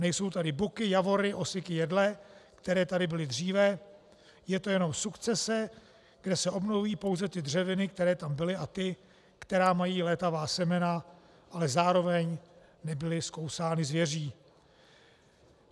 Nejsou tady buky, javory, osiky, jedle, které tady byly dříve, je to jenom sukcese, kde se obnovují pouze ty dřeviny, které tam byly, a ty, které mají létavá semena, ale zároveň nebyly zkousány zvěří.